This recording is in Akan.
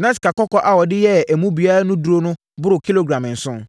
na sikakɔkɔɔ a wɔde yɛɛ emu biara no mu duru boro kilogram nson.